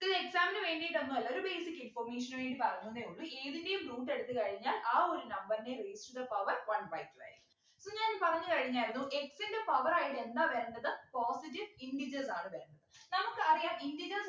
ഇതൊരു exam നു വേണ്ടിയിട്ടൊന്നും അല്ല ഒരു basic information നു വേണ്ടി പറഞ്ഞുന്നെ ഉള്ളു ഏതിൻ്റെയും root എടുത്തു കഴിഞ്ഞാൽ ആ ഒരു number ൻ്റെ raised to the power one by two ആയിരിക്കും അപ്പൊ ഞാൻ പറഞ്ഞു കഴിഞ്ഞായിരുന്നു x ൻ്റെ power ആയിട്ട് എന്താ വരേണ്ടത് positive integers ആണ് വരണ്ടത് നമുക്കറിയാം integers